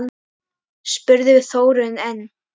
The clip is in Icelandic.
spurði Þórunn enn.